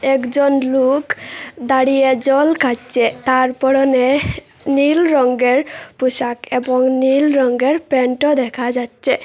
একজন লুক দাঁড়িয়ে জল খাচ্ছে তার পড়নে নীল রংঙ্গের পোশাক এবং নীল রংঙ্গের প্যান্টও দেখা যাচ্ছে।